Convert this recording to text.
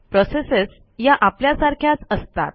processes ह्या आपल्यासारख्याच असतात